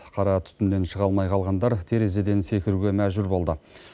қара түтіннен шыға алмай қалғандар терезеден секіруге мәжбүр болды